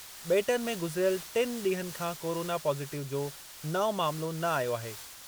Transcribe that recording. बे॒टनि में गुज़िरियल टिनि ॾींहनि खां कोरोना पॉज़िटिव जो नओं मामलो न आयो आहे।